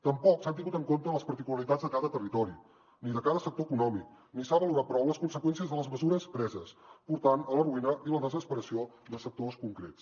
tampoc s’han tingut en compte les particularitats de cada territori ni de cada sector econòmic ni s’ha valorat prou les conseqüències de les mesures preses portant a la ruïna i la desesperació sectors concrets